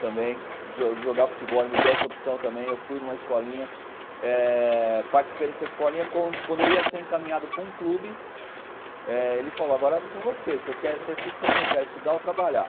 Também, de jogar futebol, ele me deu essa opção também, eu fui numa escolinha, é participei dessa escolinha, quando eu ia ser encaminhado para um clube, ele falou, agora é vou com você, o que você prefere, estudar ou trabalhar?